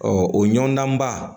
o ɲɔndanba